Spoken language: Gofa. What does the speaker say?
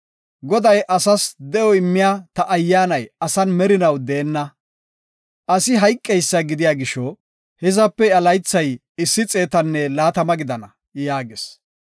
Goday, “Asas de7o immiya ta Ayyaanay asan merinaw deenna. Asi hayqeysa gidiya gisho, hizape iya laythay issi xeetanne laatama gidana” yaagis.